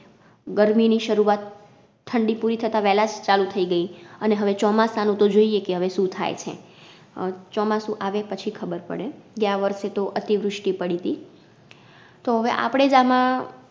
ગરમી ની શરૂઆત ઠંડી પૂરી થતાં વેલાજ ચાલુ થઈ ગઈ અને હવે ચોમાસાનું તો જોઈએ કે હવે શું થાય છે અ ચોમાસું આવે પછી ખબર પડે. ગ્યા વર્ષે તો અતિવૃષ્ટિ પડીતી. તો હવે આપડે જ આમાં